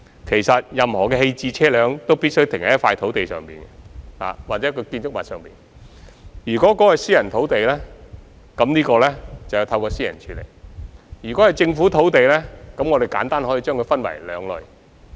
其實，任何棄置車輛均必須停泊在一塊土地上或建築物內，如果這塊土地是私人土地，便由業權擁有人來處理。